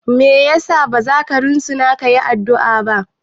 Me yasa bazaka risina kayi addu'a ba?